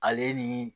Ale ni